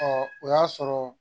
o y'a sɔrɔ